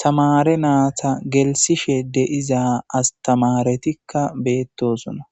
tamare naata gelsishe deiza astamaretikka beettosona